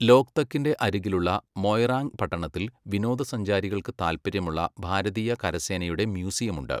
ലോക്തക്കിന്റെ അരികിലുള്ള മൊയ്റാംഗ് പട്ടണത്തിൽ വിനോദസഞ്ചാരികൾക്ക് താൽപ്പര്യമുള്ള ഭാരതീയ കരസേനയുടെ മ്യൂസിയമുണ്ട്.